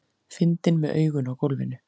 Fyndinn með augun á gólfinu.